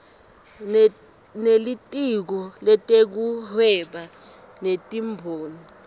nelitiko letekuhweba netimboni